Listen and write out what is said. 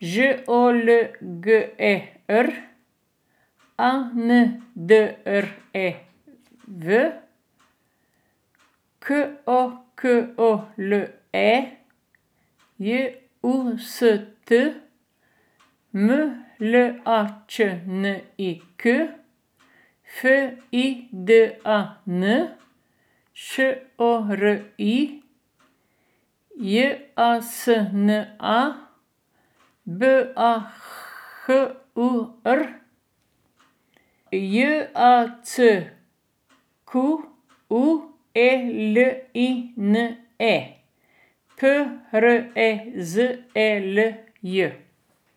Ž O L G E R; A N D R E W, K O K O L E; J U S T, M L A Č N I K; F I D A N, Š O R I; J A S N A, B A H U R; J A C Q U E L I N E, P R E Z E L J.